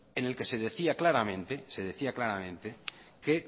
en el que se decía claramente que